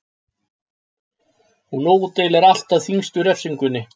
Hún útdeilir alltaf þyngstu refsingunni.